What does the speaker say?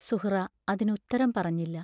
സുഹ്റാ അതിന് ഉത്തരം പറഞ്ഞില്ല.